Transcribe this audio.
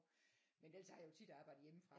Men ellers så har jeg jo tit arbejdet hjemmefra